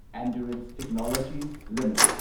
endurance Technologies limited